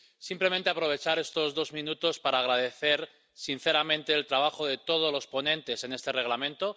Simplemente aprovechar estos dos minutos para agradecer sinceramente el trabajo de todos los ponentes en este Reglamento...